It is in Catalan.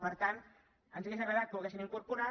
per tant ens hauria agradat que ho haguessin incorporat